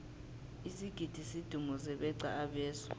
isigidi sidumuze beqa abeswa